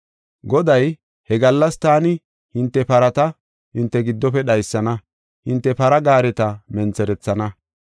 Goday, “He gallas taani hinte parata hinte giddofe dhaysana; hinte para gaareta mentherethana.